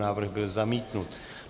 Návrh byl zamítnut.